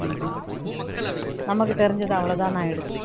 நமக்கு தெரிஞ்சது அவ்வளவுதான்னு ஆயிடுது